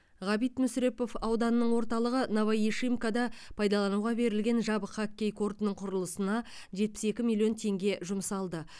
ғабит мүсірепов ауданының орталығы новоишимкада пайдалануға берілген жабық хоккей кортының құрылысына жетпіс екі миллион теңге жұмсалды